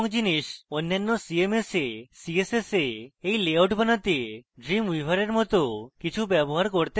অন্যান্য cms we css we in layout বানাতে dreamweaver in cmss কিছু ব্যবহার করতে পারি